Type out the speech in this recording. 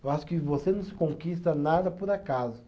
Eu acho que você não se conquista nada por acaso.